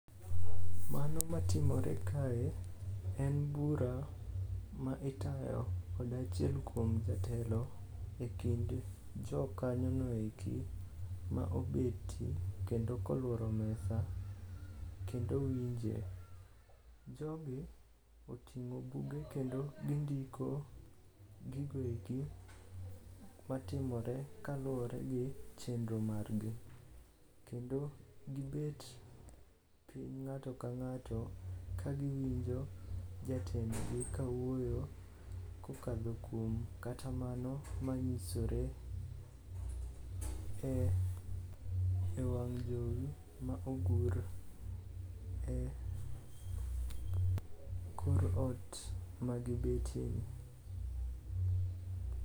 Mano matimore kae en bura ma itayo kod achiel kuom jatelo e kind jokanyono eki ma obet kendo koluoro mesa kendo winje. Jogi oting'o buge kendo gindiko gigo eki matimore kaluwore gi chenro margi. Kendo gibet piny ng'ato ka ng'ato kagiwinjo jatendgi ka wuoyo kokadho kuom kata mano manyisore e wang' jowi ma ogur e kor ot magibetieni.